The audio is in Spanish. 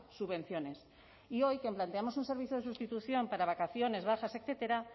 subvenciones y hoy que planteamos un servicio de sustitución para vacaciones bajas etcétera